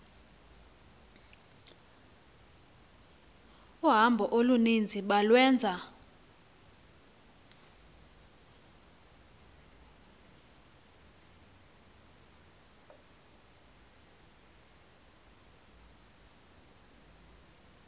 uhambo oluninzi balwenza